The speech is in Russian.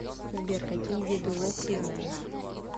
сбер какие виды лох ты знаешь